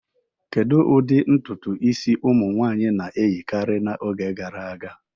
Kedu ụdị ntutu isi ụmụ nwanyị na-eyikarị n'oge gara aga?